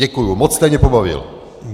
Děkuju, moc jste mě pobavil.